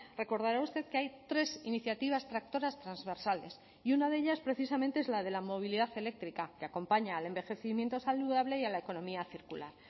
recordará usted que hay tres iniciativas tractoras transversales y una de ellas precisamente es la de la movilidad eléctrica que acompaña al envejecimiento saludable y a la economía circular